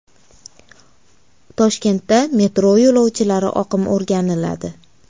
Toshkentda metro yo‘lovchilari oqimi o‘rganiladi.